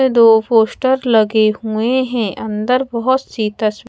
ए दो पोस्टर लगे हुए है अंदर बहुत सी तस्वी--